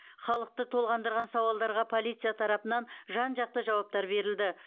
халықты толғандырған сауалдарға полиция тарапынан жан жақты жауаптар берілді